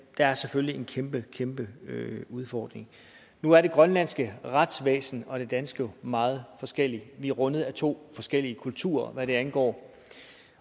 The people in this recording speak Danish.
er selvfølgelig en kæmpe kæmpe udfordring nu er det grønlandske retsvæsen og det danske jo meget forskellige vi er rundet af to forskellige kulturer hvad det angår